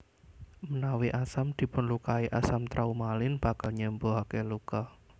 Menawi asam dipunlukai asam traumalin bakal nyembuhake luka